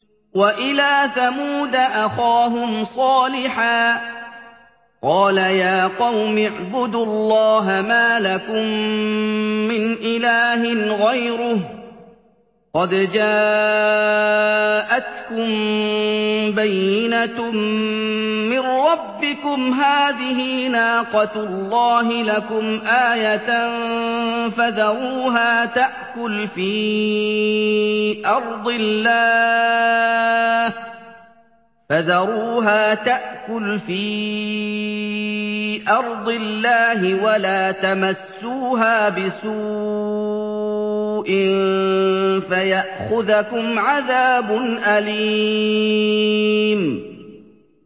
وَإِلَىٰ ثَمُودَ أَخَاهُمْ صَالِحًا ۗ قَالَ يَا قَوْمِ اعْبُدُوا اللَّهَ مَا لَكُم مِّنْ إِلَٰهٍ غَيْرُهُ ۖ قَدْ جَاءَتْكُم بَيِّنَةٌ مِّن رَّبِّكُمْ ۖ هَٰذِهِ نَاقَةُ اللَّهِ لَكُمْ آيَةً ۖ فَذَرُوهَا تَأْكُلْ فِي أَرْضِ اللَّهِ ۖ وَلَا تَمَسُّوهَا بِسُوءٍ فَيَأْخُذَكُمْ عَذَابٌ أَلِيمٌ